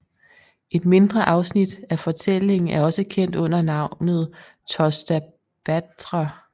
Et mindre afsnit af fortællingen er også kendt under navnet Tosta þáttr